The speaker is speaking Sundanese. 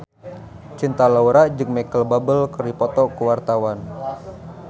Cinta Laura jeung Micheal Bubble keur dipoto ku wartawan